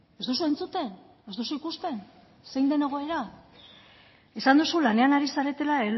ez duzu entzuten ez duzu ikusten zein zen egoera esan duzu lanean ari zaretela